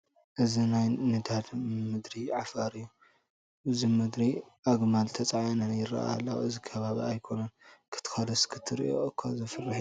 እዚ ናይ ንዳድ ምድሪ ዓፋር እዩ፡፡ ኣብዚ ምድሪ ኣግማል ተፃዒነን ይርአያ ኣለዋ፡፡ እዚ ከባቢ ኣይኮነን ክትከዶስ ክትሪኦ እዃ ዘፍርሕ እዩ፡፡